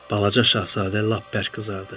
Balaca Şahzadə lap bərk qızardı.